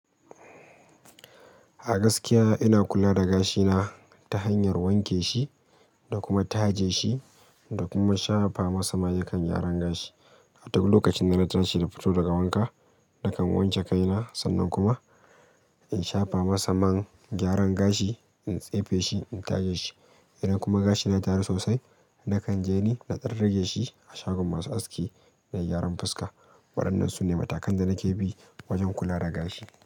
A gaskiya ina kula da gashina ta hanyar wanke shi da kuma taje shi da kuma shafa masa mayukan gyaran gashi. A duk lokacin da na tashi na fito daga wanka, nakan wanke kaina sannan kuma in shafa masa man gyaran gashi in tsefe shi in taje shi. Idan kuma gashina ya taru sosai, na kan je ni na ɗan rage shi a shagon masu aski da gyaran fuska. Waɗannan su ne matakan da nake bi wajen kula da gashi.